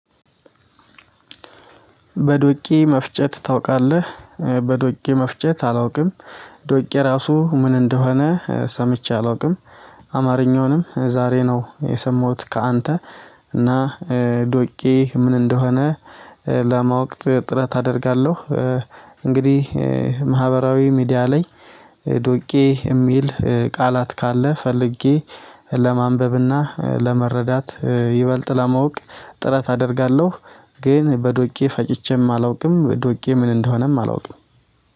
በዶቄ መፍጨት ታውቃለህ በዶቄ መፍጨት አላውቅም። ዶቄ ራሱ ምን እንደሆነ ሰምቼ አላውቅም። አማርኛውንም ዛሬ ነው የሰማሁት ከአንተ። እና ዶቄ ምን እንደሆነ ለማወቅ ጥረት አደርጋለሁ። እንግዲህ ማህበራዊ ሚዲያ ላይ ዶቄ የሚል ቃላት ካለ ፈልጌ ለማንበብና ለመረዳት ይበልጥ ለማወቅ ጥረት አደርጋለሁ። ግን በዶቄ ፈጭቼም አላውቅም ዶቄ ምን እንደሆነም አላውቅም